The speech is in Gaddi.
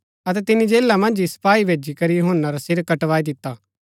ता यूहन्‍ना रै चेलै आये अतै तसेरी लाशा जो लैई गै अतै दब्बी दिता अतै गिचीकरी यीशु जो ऐह खबर दिती